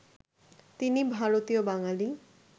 তিনি ভারতীয় বাঙালি